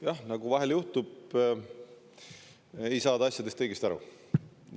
Jah, nagu vahel juhtub, ei saada asjadest õigesti aru.